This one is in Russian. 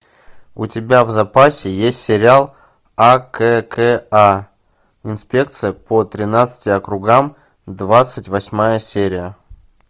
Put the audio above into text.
у тебя в запасе есть сериал акка инспекция по тринадцати округам двадцать восьмая серия